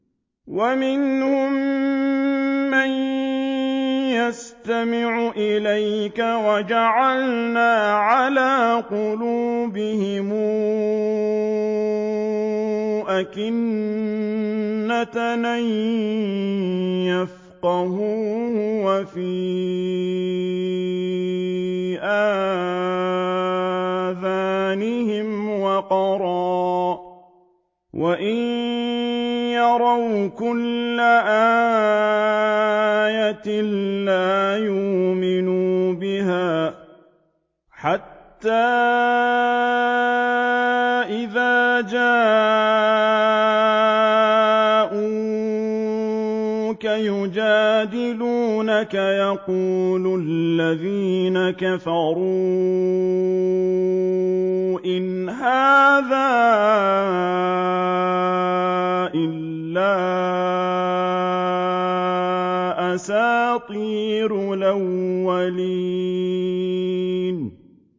وَمِنْهُم مَّن يَسْتَمِعُ إِلَيْكَ ۖ وَجَعَلْنَا عَلَىٰ قُلُوبِهِمْ أَكِنَّةً أَن يَفْقَهُوهُ وَفِي آذَانِهِمْ وَقْرًا ۚ وَإِن يَرَوْا كُلَّ آيَةٍ لَّا يُؤْمِنُوا بِهَا ۚ حَتَّىٰ إِذَا جَاءُوكَ يُجَادِلُونَكَ يَقُولُ الَّذِينَ كَفَرُوا إِنْ هَٰذَا إِلَّا أَسَاطِيرُ الْأَوَّلِينَ